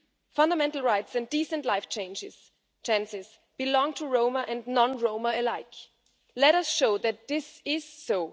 Fundamental rights and decent life chances belong to Roma and non Roma alike. Let us show that this is so.